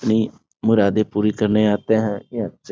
ये मुरादे पूरी करने आते है।